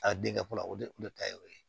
A denkɛ fɔlɔ o de ta ye o ye